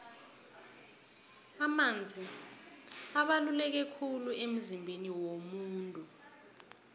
amanzi abaluleke khulu emzimbeni womuntu